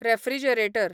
refrigerator